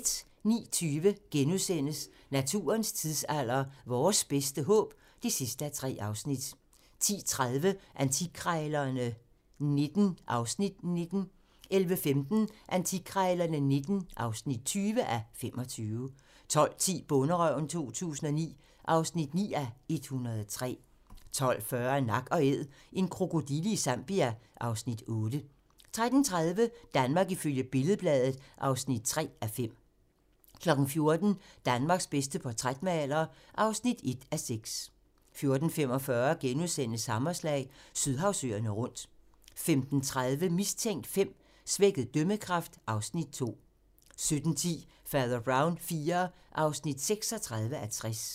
09:20: Naturens tidsalder - Vores bedste håb (3:3)* 10:30: Antikkrejlerne XIX (19:25) 11:15: Antikkrejlerne XIX (20:25) 12:10: Bonderøven 2009 (9:103) 12:40: Nak & Æd - en krokodille i Zambia (Afs. 8) 13:30: Danmark ifølge Billed-Bladet (3:5) 14:00: Danmarks bedste portrætmaler (1:6) 14:45: Hammerslag - Sydhavsøerne rundt * 15:30: Mistænkt V: Svækket dømmekraft (Afs. 2) 17:10: Fader Brown IV (36:60)